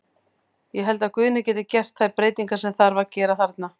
Ég held að Guðni geti gert þær breytingar sem þarf að gera þarna.